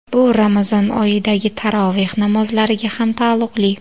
Bu Ramazon oyidagi taroveh namozlariga ham taalluqli.